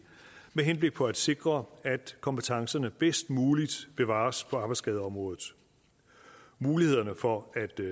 med henblik på at sikre at kompetencerne bedst muligt bevares på arbejdsskadeområdet mulighederne for